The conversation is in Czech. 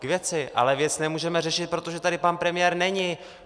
K věci, ale věc nemůžeme řešit, protože tady pan premiér není.